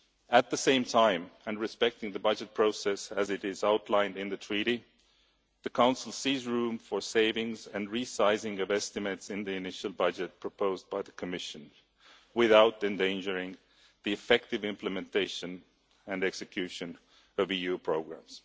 At the same time, and respecting the budget process as outlined in the Treaty, the Council sees room for savings and re sizing of estimates in the initial budget proposed by the Commission without endangering the effective implementation and execution of EU programmes.